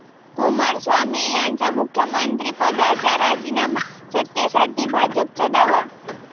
कुमारस्वामी यांचा मुख्यमंत्रीपदाचा राजीनामा, सत्तेसाठी भाजपचा दावा